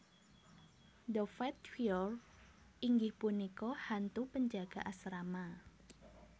The Fat Friar inggih punika hantu penjaga asrama